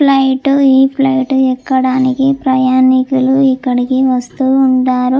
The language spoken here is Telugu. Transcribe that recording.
ఫ్లైట్ ఈ ఫ్లైట్ ఎక్కడానికి ప్రయాణికులు ఇక్కడికి వస్తూ ఉంటారు.